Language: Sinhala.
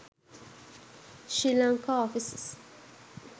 sri lanka offices